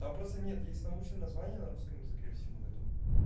там просто нет есть научное название на русском языке всему этому